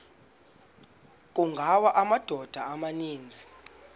kungawa amadoda amaninzi